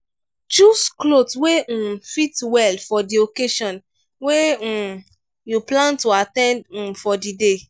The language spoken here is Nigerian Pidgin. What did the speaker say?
choose cloth wey um fit well for di occasion wey um you plan to at ten d um for di day